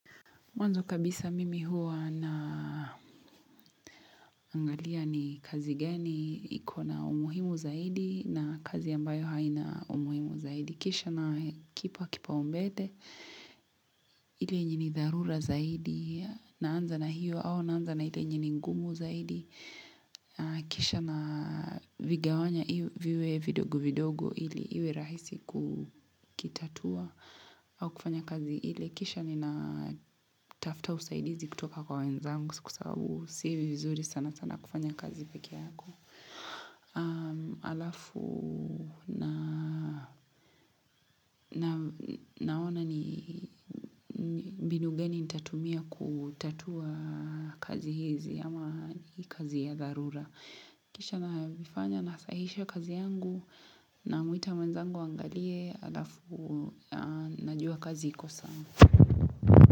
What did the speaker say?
Mwanzo kabisa mimi huwa naangalia ni kazi gani, iko na umuhimu zaidi na kazi ambayo haina umuhimu zaidi. Kisha nakipa kipaumbele, ile yenye ni dharura zaidi, naanza na hiyo au naanza na ile yenye ni ngumu zaidi. Kisha navigawanya iwe viwe vidogo vidogo ili iwe rahisi kukitatua au kufanya kazi ile. Kisha ninatafta usaidizi kutoka kwa wenzangu kwa sababu si vizuri sana sana kufanya kazi peke yako. Alafu na naona ni mbinu gani nitatumia kutatua kazi hizi ama kazi ya dharura. Kisha na vifanya nasahihisha kazi yangu namwita mwenzangu aangalie alafu najua kazi iko sawa.